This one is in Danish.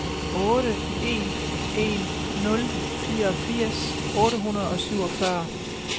otte en en nul fireogfirs otte hundrede og syvogfyrre